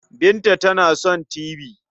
Binta tana son tibi.